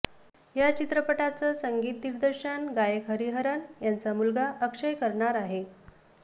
या चित्रपटाचं संगीत दिग्दर्शन गायक हरिहरन यांचा मुलगा अक्षय करणार आहे